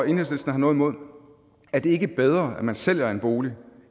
enhedslisten har noget imod er det ikke bedre at man sælger en bolig